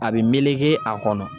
A bi meleke a kɔnɔ.